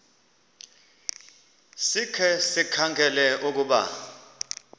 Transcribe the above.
sikhe sikhangele ukuba